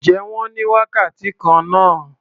Ǹjẹ́ wọ́n ní wákàtí kan náà?